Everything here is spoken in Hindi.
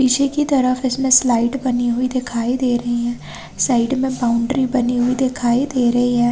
इसी की तरफ इसमें स्लाइट बनी हुई दिखाई दे रही हैं साइड मे बाउंड्री बनी हुई दिखाई दे रही हैं।